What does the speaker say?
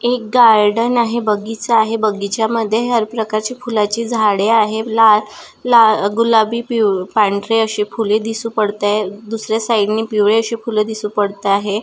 एक गार्डन आहे बगीचा आहे बगीच्या मध्ये हर प्रकार ची फुलाची झाडे आहे लाल लाल गुलाबी पिवळे पांढरे अशी फूल दिसू पडताय दुसऱ्या साइड नि पिवळी अशी दिसू पडता आहे.